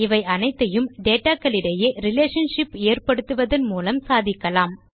இவை அனைத்தையும் டேட்டா களிடையே ரிலேஷன்ஷிப் ஏற்படுத்துவதன் மூலமே சாதிக்கலாம்